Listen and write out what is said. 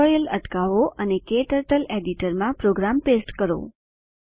tutorial અટકાવો અને KTurtle editor માં પ્રોગ્રામ પેસ્ટ કરો